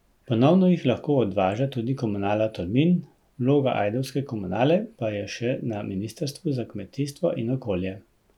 Ponovno jih lahko odvaža tudi komunala Tolmin, vloga ajdovske komunale pa je še na ministrstvu za kmetijstvo in okolje.